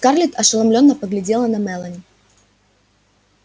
скарлетт ошеломлённо поглядела на мелани